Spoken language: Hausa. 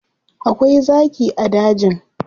Akwai zaki a dajin.